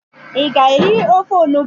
ị ga-eri ofe onugbu?